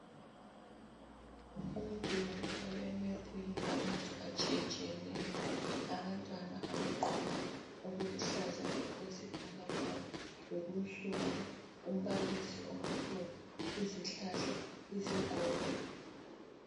Umduli olemephu elamazwe atshiyetshiyeneyo abantwana abagqoke okuluhlaza okwesibhakabhaka lokunsundu umbalisi omileyo izihlala izigodo.